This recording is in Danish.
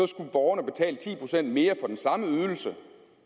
skulle borgerne betale ti procent mere for den samme ydelse